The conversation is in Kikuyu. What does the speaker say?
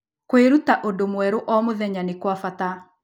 Kwĩruta ũndũ mwerũ o mũthenya nĩ kwa bata.